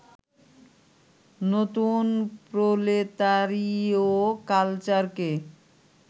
নতুন প্রলেতারীয় কালচারকে